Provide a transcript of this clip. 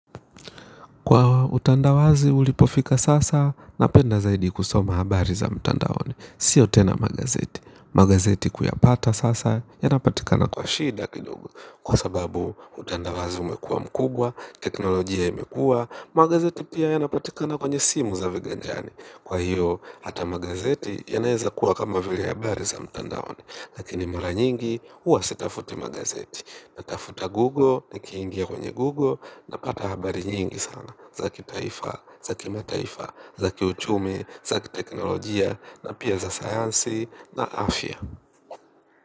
Kwa utandawazi ulipofika sasa, napenda zaidi kusoma habari za mtandaoni. Sio tena magazeti. Magazeti kuyapata sasa, yanapatika na kwa shida kidogo. Kwa sababu utandawazi umekuwa mkubwa teknolojia imekuwa magazeti pia yanapatikana kwenye simu za viganjani. Kwa hiyo, hata magazeti yanayeza kuwa kama vile habari za mtandaoni. Lakini mara nyingi, huwa sitafuti magazeti. Natafuta Google, nikingia kwenye Google, napata habari nyingi sana. Zaki taifa, zaki mataifa, zaki uchumi, zaki teknolojia na pia za sayansi na afya.